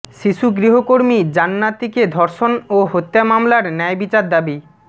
শিশু গৃহকর্মী জান্নাতীকে ধর্ষণ ও হত্যা মামলার ন্যায়বিচার দাবি